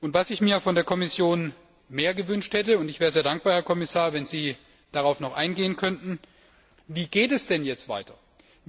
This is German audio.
Was ich mir von der Kommission mehr gewünscht hätte ich wäre sehr dankbar, Herr Kommissar, wenn Sie darauf noch eingehen könnten ist eine Antwort darauf, wie es denn jetzt weitergeht.